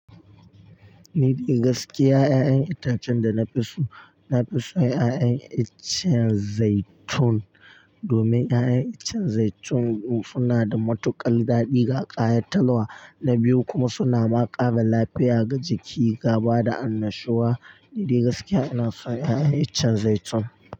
Ni dai gaskiya 'ya'yan itacen da na fi so, na fi so 'ya'yan iccen zaitun. Domin 'ya'yan iccen zaitun suna da matuƙar daɗi ga ƙayatatwa, na biyu kuma suna ma kara lafiya ga jiki gaba da annashuwa. Ni dai gaskiya ina son 'ya'yan iccen zaitun.